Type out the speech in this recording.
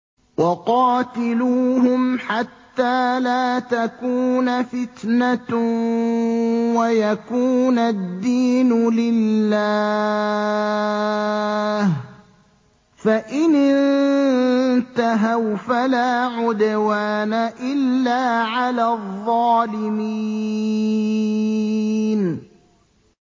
وَقَاتِلُوهُمْ حَتَّىٰ لَا تَكُونَ فِتْنَةٌ وَيَكُونَ الدِّينُ لِلَّهِ ۖ فَإِنِ انتَهَوْا فَلَا عُدْوَانَ إِلَّا عَلَى الظَّالِمِينَ